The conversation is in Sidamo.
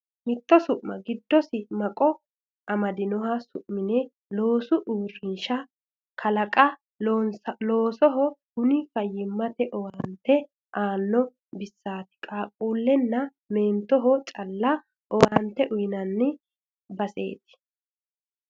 Mitto su'ma giddosi maqo amadinoha su'mine loosu uurrinsha kalanqe loonsoniho kuni fayyimate owaante aano baseti qaaqqulehonna meentoho calla owaante uyinanni baseti.